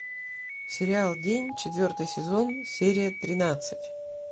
сериал день четвертый сезон серия тринадцать